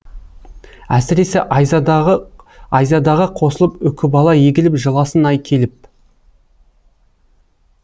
әсіресе айзадаға қосылып үкібала егіліп жыласын ай келіп